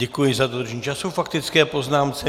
Děkuji za dodržení času k faktické poznámce.